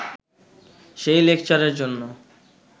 সেই লেকচারের জন্য